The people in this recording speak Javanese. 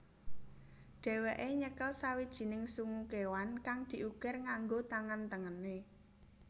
Dheweke nyekel sawijining sungu kewan kang diukir nganggo tangan tengene